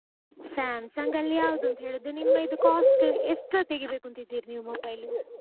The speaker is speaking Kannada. Samsung ಅಲ್ಲಿ ಯಾವ್ದು ಅಂತ ಹೇಳುದು ನಿಮ್ಮ ಇದು cost ಎಷ್ಟ್ರದ್ದುತೆಗೀಬೇಕು ಅಂತ ಇದ್ದೀರಿ ನೀವುmobile.